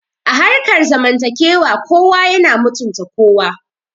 A harkar zamantakewa kowa yana mutunta kowa